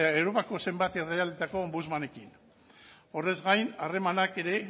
eta europako zenbat ombudsmanekin horrez gain harremanak ere